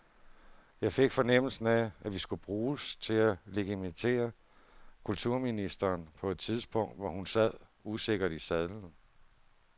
Jeg fik fornemmelsen af, at vi skulle bruges til at legitimere kulturministeren på et tidspunkt, hvor hun sad usikkert i sadlen.